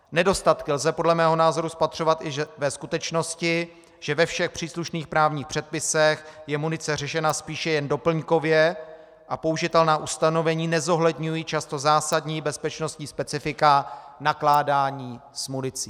Nedostatky lze podle mého názoru spatřovat i ve skutečnosti, že ve všech příslušných právních předpisech je munice řešena spíše jen doplňkově a použitelná ustanovení nezohledňují často zásadní bezpečnostní specifika nakládání s municí.